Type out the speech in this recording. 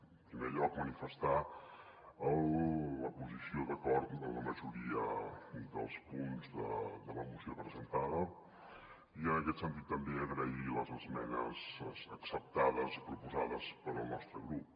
en primer lloc manifestar la posició d’acord de la majoria dels punts de la moció presentada i en aquest sentit també agrair les esmenes ac·ceptades proposades pel nostre grup